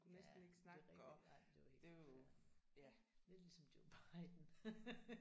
Ja det er rigtigt ej men det var helt forfærdeligt. Lidt ligesom Joe Biden